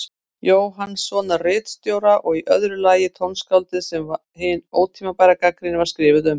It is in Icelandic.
Jóhannssonar ritstjóra, og í öðru lagi tónskáldið sem hin ótímabæra gagnrýni var skrifuð um.